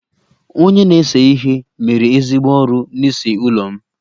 Onye na-ese ihe mere ezigbo ọrụ n'ịse ụlọ m